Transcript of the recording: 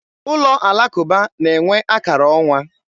Ụlọ alakụba na-enwe akara ọnwa.